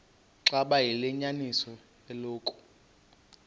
xaba liyinyaniso eloku